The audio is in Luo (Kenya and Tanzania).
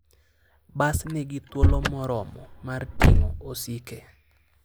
Bas nigi thuolo moromo mar ting'o osike.